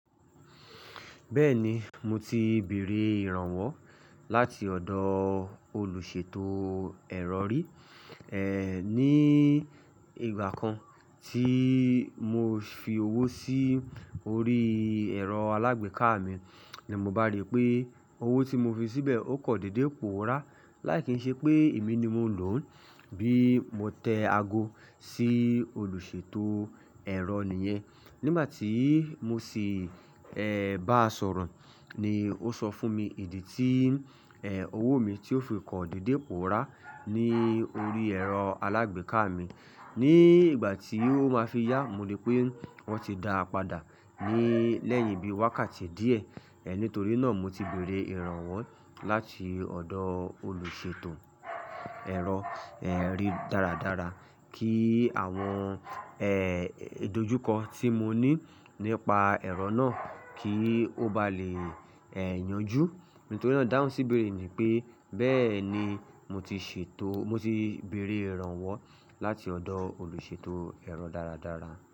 Bẹ́ẹ̀ni, mo ti beèrè ìrànwọ́ láti ọ̀dọ̀ olùṣètò ẹ̀rọ rí. È ní ìgbà kan tí mo fi owó sí orí ẹ̀rọ alágbèéká mi, ni mo bá ríi pé owó tí mo fi síbẹ̀ ó kan dédé pòórá láì kí ń ṣe pé èmi ni mo lò ó. Bí mo tẹ ago sí olùṣètò ẹ̀rọ nìyẹn. Nígbà tí mo sì e ba sọ̀rọ̀ ni ó sọ fún mi ìdí tí e owó mi tí ó fi kan dédé pòórá ní orí ẹ̀rọ alágbèéká mi. Ni ìgbà tí ó máa fi yá, mo ríi pé wọ́n ti dáa padà ní lẹ́yìn bí wákàtí díẹ̀. È nítorí náà mo ti bèrè ìrànwọ́ láti ọ̀dọ̀ olùṣètò ẹ̀rọ ẹ rí dáradára kí àwọn ẹ dojúkọ tí mo ní nípa ẹ̀rọ náà kí ó ba lè ẹ yanjú. Nítorí náà dáhùn síbẹ̀ rẹ̀ ni pé, bẹ́ẹ̀ni mo ti ṣètò, mo ti bẹ̀rẹ̀ ìrànwọ́ láti ọ̀dọ̀ olùṣètò ẹ̀rọ dáradára.